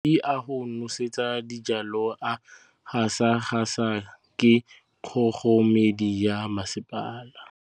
Metsi a go nosetsa dijalo a gasa gasa ke kgogomedi ya masepala.